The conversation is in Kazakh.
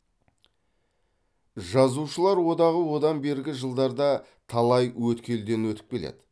жазушылар одағы одан бергі жылдарда да талай өткелден өтіп келеді